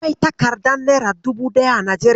Akwai takardar nera dubu ɗaya a Najeriya.